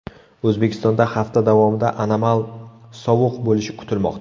O‘zbekistonda hafta davomida anomal sovuq bo‘lishi kutilmoqda.